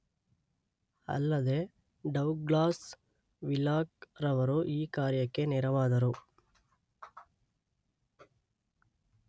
ಅಲ್ಲದೇ Douglas Wheelock ರವರು ಈ ಕಾರ್ಯಕ್ಕೆ ನೆರವಾದರು